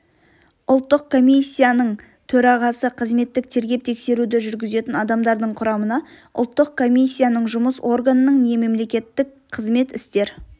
ұлттық комиссияның төрағасы қызметтік тергеп-тексеруді жүргізетін адамдардың құрамына ұлттық комиссияның жұмыс органының не мемлекеттік қызмет істер